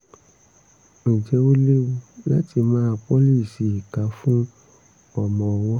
ǹjẹ́ ó léwu láti máa pọ́líìṣìì ìka fún ọmọ ọwọ́?